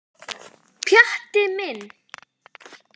Pjatti minn.